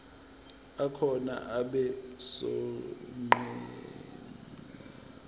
akhona abe sonqenqemeni